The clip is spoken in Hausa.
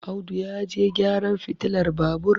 Audu ya je gyaran fitilar Babur